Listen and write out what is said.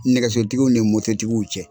Nɛgɛsotigiw ni mototigiw ni ɲɔgɔn cɛ.